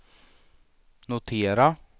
notera